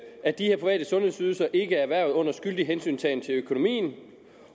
at de her private sundhedsydelser ikke er erhvervet under skyldig hensyntagen til økonomien